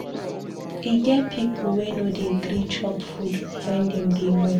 E get pipu wey no dey gree chop food wen dem dey mourn.